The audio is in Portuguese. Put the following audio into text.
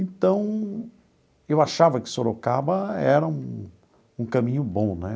Então, eu achava que Sorocaba era um um caminho bom, né?